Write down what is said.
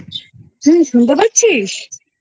তুই শুনতে পাচ্ছিস?